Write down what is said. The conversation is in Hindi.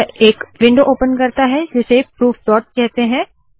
यह एक विंडो ओपन करता है जिसे प्रूफ डॉट कहते है